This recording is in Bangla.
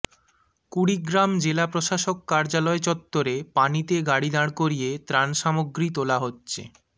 কুড়িগ্রাম জেলা প্রশাসক কার্যালয় চত্বরে পানিতে গাড়ি দাঁড় করিয়ে ত্রাণ সামগ্রী তোলা হচ্ছে